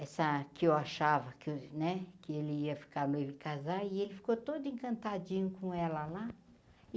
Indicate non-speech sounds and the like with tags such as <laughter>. Essa que eu achava <unintelligible> né que ele ia ficar noivo e casar, e ele ficou todo encantadinho com ela lá.